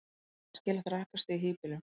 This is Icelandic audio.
hvert er æskilegt rakastig í hýbýlum